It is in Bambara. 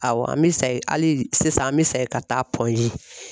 Awɔ an bɛ hali sisan an bɛ sa ka taa .